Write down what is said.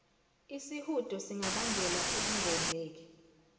isihudo singabangela ukungondleki